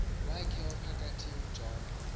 wakhe ophakathi ujohn